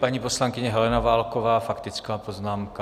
Paní poslankyně Helena Válková, faktická poznámka.